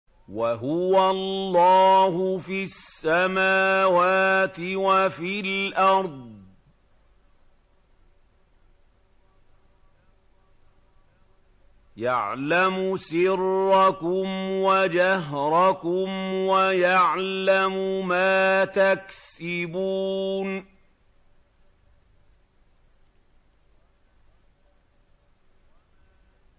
وَهُوَ اللَّهُ فِي السَّمَاوَاتِ وَفِي الْأَرْضِ ۖ يَعْلَمُ سِرَّكُمْ وَجَهْرَكُمْ وَيَعْلَمُ مَا تَكْسِبُونَ